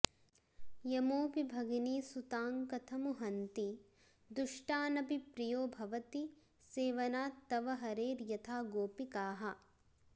यमोऽपि भगिनीसुतान्कथमु हन्ति दुष्टानपि प्रियो भवति सेवनात्तव हरेर्यथा गोपिकाः